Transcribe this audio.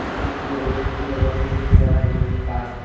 tay enuju iben hee obow hijeni hee jaga obow hijeni gaj.